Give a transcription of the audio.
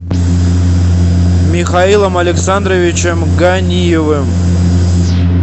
михаилом александровичем ганиевым